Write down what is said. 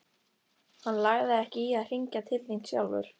Hann lagði ekki í að hringja til þín sjálfur.